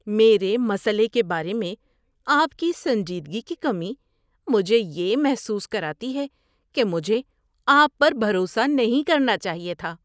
میرے مسئلے کے بارے میں آپ کی سنجیدگی کی کمی مجھے یہ محسوس کراتی ہے کہ مجھے آپ پر بھروسہ نہیں کرنا چاہیے تھا۔